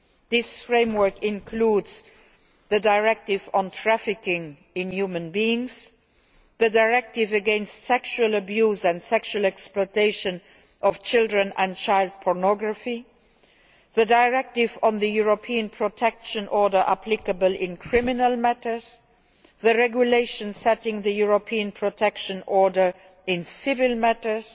This framework includes the Directive on trafficking in human beings, the Directive against the sexual abuse and sexual exploitation of children and child pornography, the Directive on the European Protection Order applicable in criminal matters, the Regulation setting the European Protection Order covering the civil matters